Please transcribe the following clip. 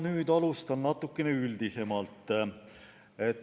Alustan natuke üldisemalt.